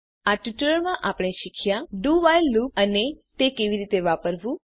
આ ટ્યુટોરીયલમાં આપણે આ વિષે શીખ્યા ડીઓ while લુપ અને તે કેવી રીતે વાપરવું